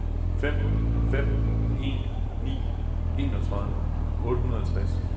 fem fem en ni enogtredive otte hundrede og tres